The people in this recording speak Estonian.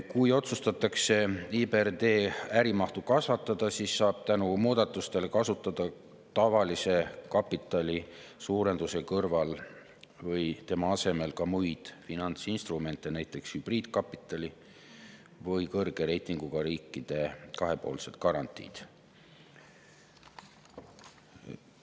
Kui otsustatakse IBRD äri mahtu kasvatada, siis saab tänu muudatustele kasutada tavalise kapitali suurendamise kõrval või selle asemel ka muid finantsinstrumente, näiteks hübriidkapitali või kõrge reitinguga riikide kahepoolseid garantiisid.